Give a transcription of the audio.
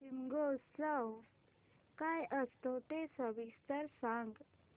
शिमगोत्सव काय असतो ते सविस्तर सांग